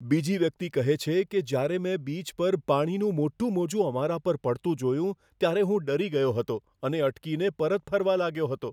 બીજી વ્યક્તિ કહે છે કે, જ્યારે મેં બીચ પર પાણીનું મોટું મોજું અમારા પર પડતું જોયું, ત્યારે હું ડરી ગયો હતો અને અટકીને પરત ફરવા લાગ્યો હતો.